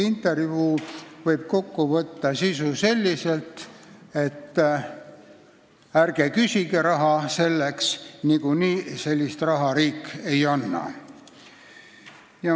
Intervjuu sisu võib kokku võtta selliselt, et ärge selleks raha küsige, niikuinii seda raha riik ei anna.